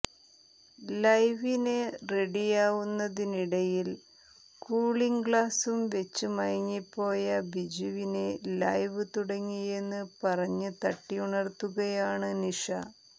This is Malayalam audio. ലൈവിന് റെഡിയാവുന്നതിനിടയിൽ കൂളിംഗ് ഗ്ലാസ്സും വെച്ച് മയങ്ങിപ്പോയ ബിജുവിനെ ലൈവ് തുടങ്ങിയെന്ന് പറഞ്ഞ് തട്ടിയുണർത്തുകയാണ് നിഷ